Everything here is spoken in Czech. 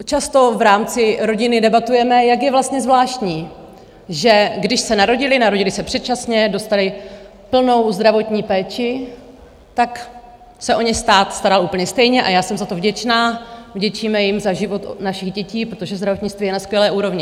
Často v rámci rodiny debatujeme, jak je vlastně zvláštní, že když se narodili - narodili se předčasně, dostali plnou zdravotní péči - tak se o ně stát staral úplně stejně, a já jsem za to vděčná, vděčíme jim za život našich dětí, protože zdravotnictví je na skvělé úrovni.